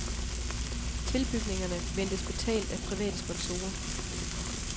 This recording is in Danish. Tilbygningerne ventes betalt af private sponsorer.